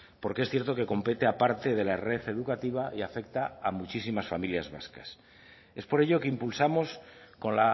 porque es cierto que compete a parte de la red educativa y afecta a muchísimas familias vascas es por ello que impulsamos con